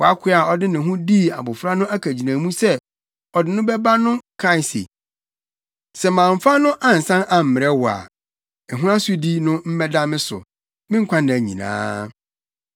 Wʼakoa a ɔde ne ho dii abofra no akagyinamu sɛ ɔde no bɛba no kae se, ‘Sɛ mamfa no ansan ammrɛ wo a, ɛho asodi no mmɛda me so, me nkwanna nyinaa.’